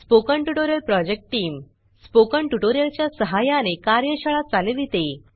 spoken tutorial project team spoken tutorial च्या सहाय्याने कार्यशाळा चालविते